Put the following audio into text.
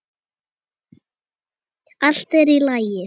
Allt er í lagi.